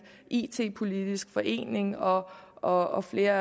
it politisk forening og og flere